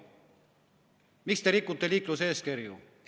Miks te rikute liikluseeskirju?